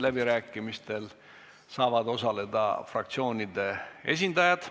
Läbirääkimistel saavad osaleda fraktsioonide esindajad.